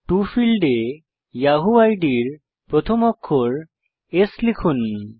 টো ফীল্ডে ইয়াহু আইডির প্রথম অক্ষর S লিখুন